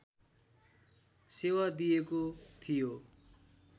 सेवा दिएको थियो